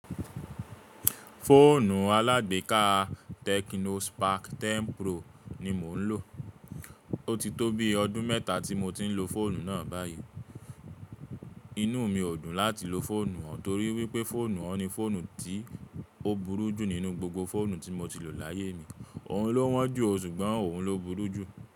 Fóònù alágbééká Tecno Spark 10 Pro ni mò ń lò. Ó ti tó bi ọdún mẹ́ta tí mo ti ń lo fọ́ònù náà báyìí. Inú mi ò dùn láti lo fọ́ònù òun torí wípé fọ́ònù òun ni fọ́ònù tí ó burú jù nínú gbogbo fọ́ònù tí mo ti lò láyé mi. Òun ló wọ́n jù o ṣùgbọ́n òun ló burú jù.